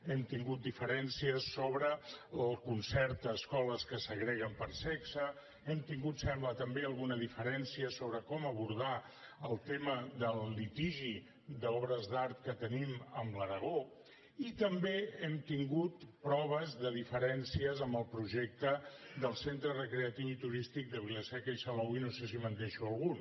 hem tingut diferències sobre el concert a escoles que segreguen per sexe hem tingut ho sembla també alguna diferència sobre com abordar el tema del litigi d’obres d’art que tenim amb l’aragó i també hem tingut proves de diferències en el projecte del centre recreatiu i turístic de vila seca i salou i no sé si me’n deixo algun